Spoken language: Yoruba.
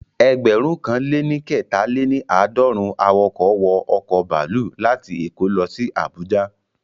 Ẹgbẹ̀rún kan lé ní kẹta-lé-ní-aadorun awọkọ̀ wọ ọ̀kọ̀ baluu láti èkó lọ sí Àbújá